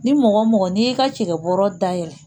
Ni mɔgɔ mɔgɔ n'i y'i ka cɛkɛ bɔrɛ da yɛlɛ